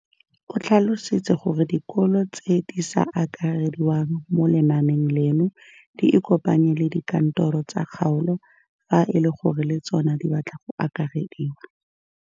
O tlhalositse gore dikolo tse di sa akarediwang mo lenaaneng leno di ikopanye le dikantoro tsa kgaolo fa e le gore le tsona di batla go akarediwa.